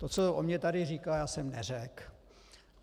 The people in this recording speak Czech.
To, co o mě tady říká, já jsem neřekl.